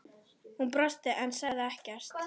Hún brosti en sagði ekkert.